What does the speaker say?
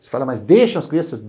Você fala, mas deixam as crianças?